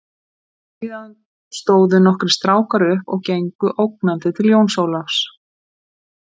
Síðan stóðu nokkrir strákar upp og gengu ógnandi til Jóns Ólafs.